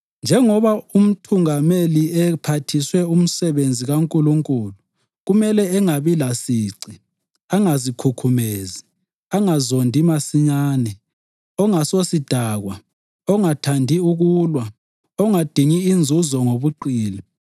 Njengoba umthungameli ephathiswe umsebenzi kaNkulunkulu, kumele angabi lasici, angazikhukhumezi, ongazondi masinyane, ongasisosidakwa, ongathandi ukulwa, ongadingi inzuzo ngobuqili.